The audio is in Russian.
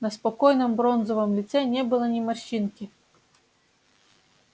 на спокойном бронзовом лице не было ни морщинки